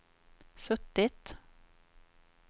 suttit